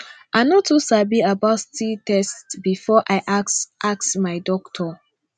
i no too sabi about sti test before i ask ask my doctor